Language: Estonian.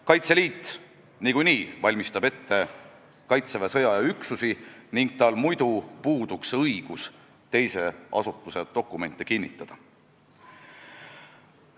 Kaitseliit valmistab niikuinii ette Kaitseväe sõjaaja üksusi ning muidu tal puuduks õigus teise asutuse dokumente kinnitada.